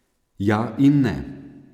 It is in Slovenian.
Ja in ne.